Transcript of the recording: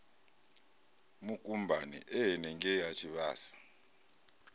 mukumbani e henengei ha tshivhasa